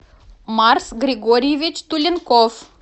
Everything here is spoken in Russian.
марс григорьевич туленков